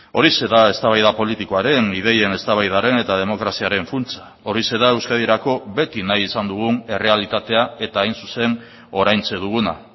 horixe da eztabaida politikoaren ideien eztabaidaren eta demokraziaren funtsa horixe da euskadirako beti nahi izan dugun errealitatea eta hain zuzen oraintxe duguna